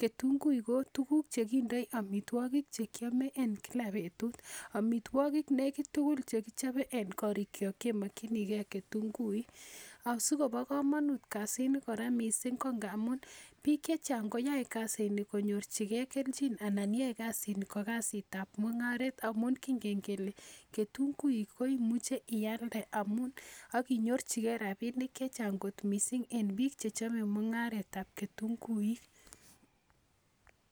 ketunguik ko tukuk chekindoi omitwokik chekiome en kila betut omitwokik nekit tugul chekichobe en korik chok kemokchinigei ketunguik asikobo komonut kasi ni kora mising' ko ngaamun biik chechang' koyoei kasini konyorchigei kelchin anan yoei kasini ko kasitab mung'aret amun kingen kele ketunguik ko imuchei iyalde amun akonyorchigei rabinik chechang' kot mising' eng' biik chechomei mung'aretab ketunguik